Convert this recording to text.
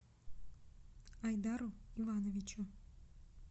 айдару ивановичу